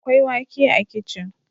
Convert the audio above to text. Akwai wake a kicin